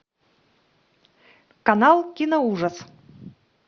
канал киноужас